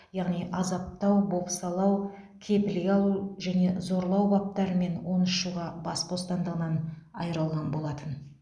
яғни азаптау бопсалау кепілге алу және зорлау баптарымен он үш жылға бас бостандығынан айырылған болатын